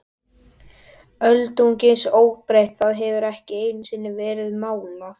Öldungis óbreytt, það hefur ekki einusinni verið málað.